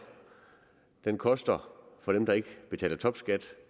den koster for dem der ikke betaler topskat